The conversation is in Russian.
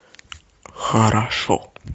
хорошо